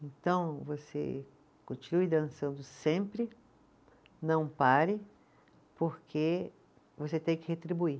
Então, você continue dançando sempre, não pare, porque você tem que retribuir.